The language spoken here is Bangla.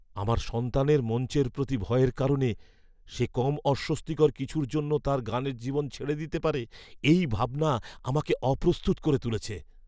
আমার সন্তানের মঞ্চের প্রতি ভয়ের কারণে সে কম অস্বস্তিকর কিছুর জন্য তার গানের জীবন ছেড়ে দিতে পারে এই ভাবনা আমাকে অপ্রস্তুত করে তুলেছে।